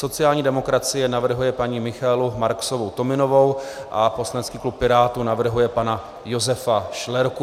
Sociální demokracie navrhuje paní Michaelu Marksovou Tominovou a poslanecký klub Pirátů navrhuje pana Josefa Šlerku.